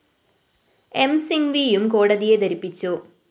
M സിങ്‌വിയും കോടതിയെ ധരിപ്പിച്ചു